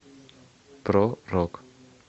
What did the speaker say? про рок